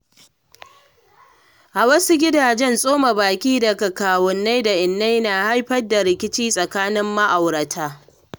A wasu gidaje, tsoma baki daga kawunnai da innai na haifar da rikici tsakanin ma’aurata.